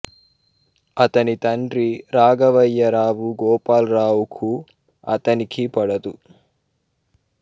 అతని తండ్రి రాఘవయ్య రావు గోపాలరావు కూ అతనికీ పడదు